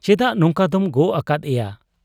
ᱪᱮᱫᱟᱜ ᱱᱚᱝᱠᱟ ᱫᱚᱢ ᱜᱚᱜ ᱟᱠᱟᱫ ᱮᱭᱟ ?